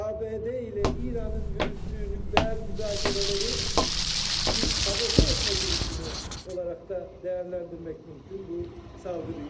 ABŞ ilə İranın yürütdüyü nüvə müzakirələri bir sabote etmə girişimini olaraq da dəyərləndirmək mümkün bu saldırıyı.